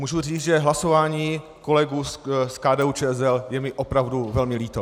Můžu říct, že hlasování kolegů z KDU-ČSL je mi opravdu velmi líto.